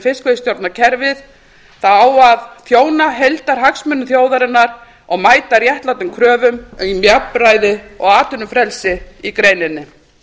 fiskveiðistjórnarkerfið það á að þjóna heildarhagsmunum þjóðarinnar og mæta réttmætum kröfum um jafnræði og atvinnufrelsi í greininni